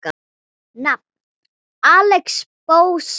Nafn: Axel Bóasson